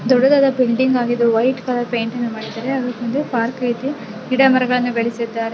ದೊಡ್ಡದಾದ ಬಿಲ್ಡಿಂಗ್ ಆಗಿದ್ದು white colour ಪೇಂಟಿಂದ ಮಾಡಿದರೆ ಅದರ ಮುಂದೆ ಪಾರ್ಕ್ ಇದ್ದು ಗಿಡಮರಗಳನ್ನು ಬೆಳೆಸಿದ್ದಾ --